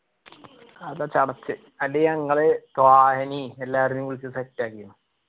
അതാ ചടച്ച്‌ അത് ഞങ്ങള് ത്വാഹാനേം എല്ലാരെനെയും വിളിച്ച് set ആക്കി